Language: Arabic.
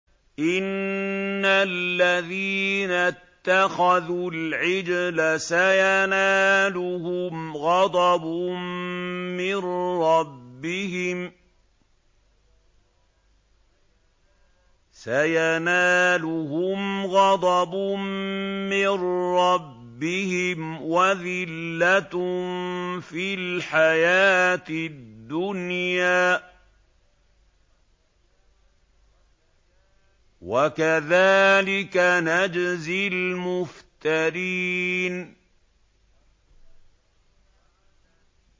إِنَّ الَّذِينَ اتَّخَذُوا الْعِجْلَ سَيَنَالُهُمْ غَضَبٌ مِّن رَّبِّهِمْ وَذِلَّةٌ فِي الْحَيَاةِ الدُّنْيَا ۚ وَكَذَٰلِكَ نَجْزِي الْمُفْتَرِينَ